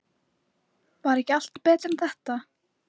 Var ekki allt betra en þetta?